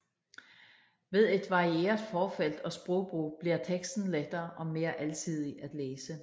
Ved et varieret forfelt og sprogbrug bliver teksten lettere og mere alsidig at læse